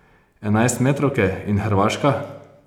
Enajstmetrovke in Hrvaška?